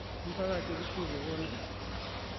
umphakathi kufuze bona